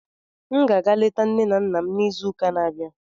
M ga-aga leta nne na nna m n'izuuka na-abịa.